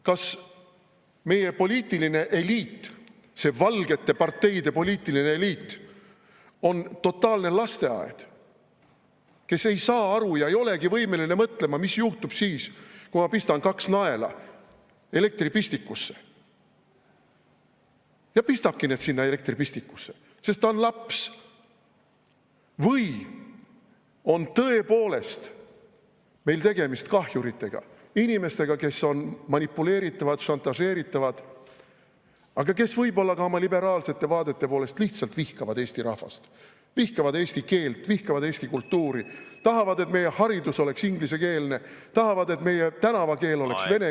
Kas meie poliitiline eliit, see valgete parteide poliitiline eliit on totaalne lasteaed, kes ei saa aru ega olegi võimeline mõtlema, mis juhtub siis, kui pista kaks naela elektripistikusse, ja pistabki need sinna elektripistikusse, sest ta on laps, või on tõepoolest meil tegemist kahjuritega, inimestega, kes on manipuleeritavad ja šantažeeritavad, aga kes võib-olla ka oma liberaalsete vaadete tõttu lihtsalt vihkavad Eesti rahvast, vihkavad eesti keelt, vihkavad eesti kultuuri, tahavad, et meie haridus oleks ingliskeelne, tahavad, et meie tänavakeel oleks venekeelne ...